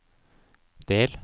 del